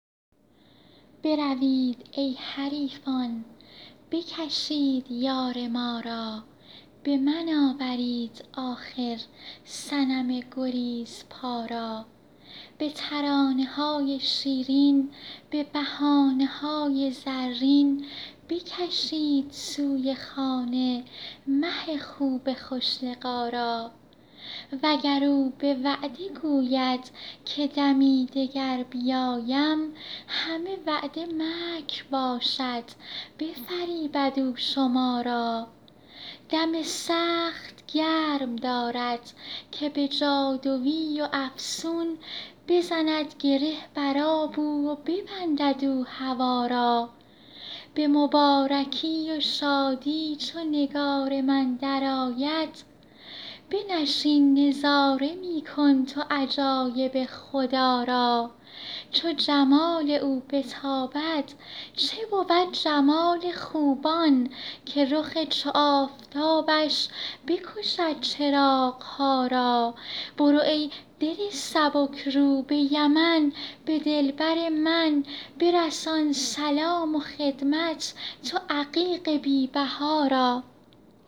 بروید ای حریفان بکشید یار ما را به من آورید آخر صنم گریزپا را به ترانه های شیرین به بهانه های زرین بکشید سوی خانه مه خوب خوش لقا را وگر او به وعده گوید که دمی دگر بیایم همه وعده مکر باشد بفریبد او شما را دم سخت گرم دارد که به جادوی و افسون بزند گره بر آب او و ببندد او هوا را به مبارکی و شادی چو نگار من درآید بنشین نظاره می کن تو عجایب خدا را چو جمال او بتابد چه بود جمال خوبان که رخ چو آفتابش بکشد چراغ ها را برو ای دل سبک رو به یمن به دلبر من برسان سلام و خدمت تو عقیق بی بها را